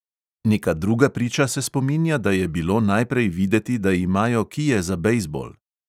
Neka druga priča se spominja, da je bilo najprej videti, da imajo kije za bejzbol.